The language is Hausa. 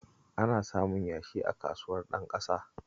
Ana samun yashi a Kasuwar Ɗanƙasa